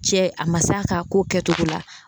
Cɛ a ma se a ka ko kɛtogo la.